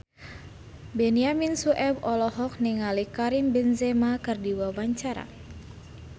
Benyamin Sueb olohok ningali Karim Benzema keur diwawancara